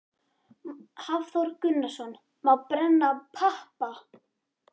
Hafþór Gunnarsson: Má brenna pappa?